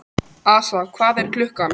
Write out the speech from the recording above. Assa, hvað er klukkan?